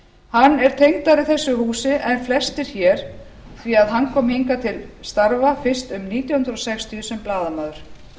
hann er tengdari þessu húsi en flestir hér því að hann kom hingað til starfa fyrst um nítján hundruð sextíu sem blaðamaður